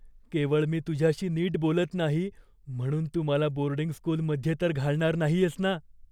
केवळ मी तुझ्याशी नीट बोलत नाही म्हणून तू मला बोर्डिंग स्कूलमध्ये तर घालणार नाहीयेस ना?